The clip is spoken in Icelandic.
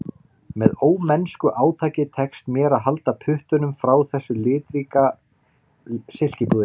Með ómennsku átaki tekst mér að halda puttunum frá þessu litríka silkipúðri